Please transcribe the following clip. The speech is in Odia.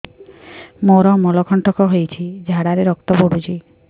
ମୋରୋ ମଳକଣ୍ଟକ ହେଇଚି ଝାଡ଼ାରେ ରକ୍ତ ପଡୁଛି